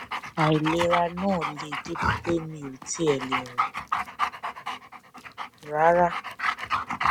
àìlera náà le débi pé mi ò tiẹ lè rìn rárá